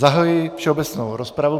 Zahajuji všeobecnou rozpravu.